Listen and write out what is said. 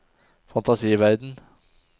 fantasiverden